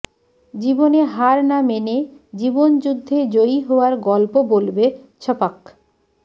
জীবনে হার না মেনে জীবন যুদ্ধে জয়ী হওয়ার গল্প বলবে ছপাক